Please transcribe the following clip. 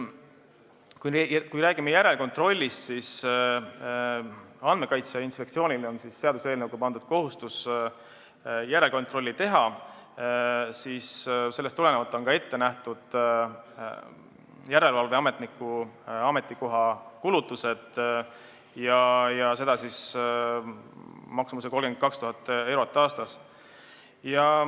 Kui me räägime järelkontrollist, siis Andmekaitse Inspektsioonile on seaduseelnõuga pandud kohustus järelkontrolli teha, sellest tulenevalt on ette nähtud järelevalveametniku ametikoha kulutused, seda maksumuses 32 000 eurot aastas.